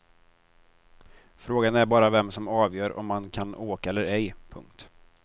Frågan är bara vem som avgör om man kan åka eller ej. punkt